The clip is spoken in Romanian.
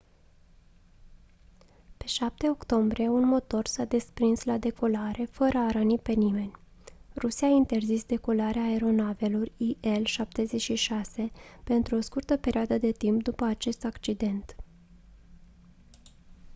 pe 7 octombrie un motor s-a desprins la decolare fără a răni pe nimeni rusia a interzis decolarea aeronavelor il-76 pentru o scurtă perioadă de timp după acest accident